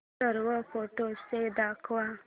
सर्व फोटोझ दाखव